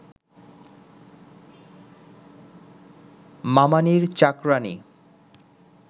মামানীর চাকরাণী